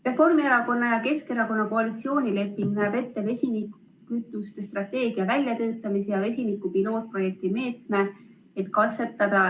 Reformierakonna ja Keskerakonna koalitsioonileping näeb ette vesinikukütuste strateegia väljatöötamise ja vesiniku pilootprojekti meetme, et katsetada ...